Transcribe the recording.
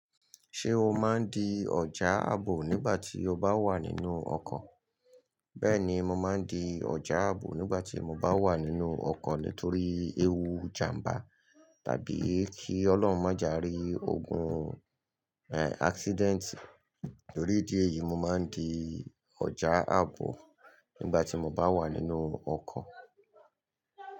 Ṣé o máa ń di ọjà àbò nígbà tí o bá wà nínú ọkọ̀? Bẹ́ẹ̀ni, mo máa ń di ọjà àbò nígbà tí mo bá wà nínú ọkọ̀ nítorí ewu ìjàmbá tàbí kí Ọlọ́run má je a rí ogun, eh, accident. Nítorí ìdí èyí, mo máa ń di ọjà àbò nígbà tí mo bá wà nínú ọkọ̀.